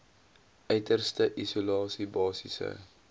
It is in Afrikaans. uiterste isolasie basiese